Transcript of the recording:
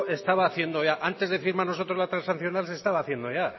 estaba haciendo ya antes de firmar nosotros la transaccional se estaba haciendo ya